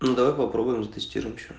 давай попробуем вместе